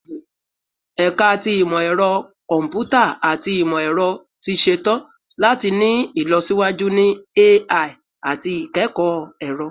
Ẹka ti Imọ-ẹrọ Kọmputa ati Imọ-ẹrọ ti ṣetan lati ni ilọsiwaju ni AI ati ikẹkọ ẹrọ